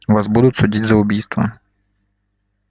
вас будут судить за убийство